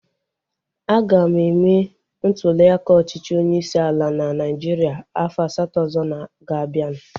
A ga-eme ntuliaka ọchịchị onyeisi ala na Naijiria afọ asatọ ọzọ ga-abianu